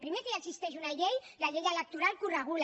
primer que ja existeix una llei la llei electoral que ho regula